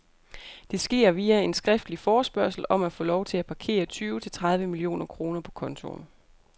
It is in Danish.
Det sker via en skriftlig forespørgsel om at få lov til at parkere tyve til tredive millioner kroner på kontoen.